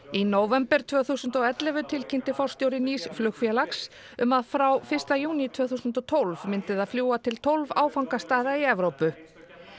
í nóvember tvö þúsund og ellefu tilkynnti forstjóri nýs flugfélags um að frá fyrsta júní tvö þúsund og tólf myndi það til fljúga til tólf áfangastaða í Evrópu